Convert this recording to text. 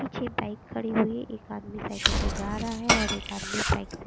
पीछे एक बाइक खड़ी हुई है एक आदमी साइकिल से जा रहा है और एक आदमी बाइक से--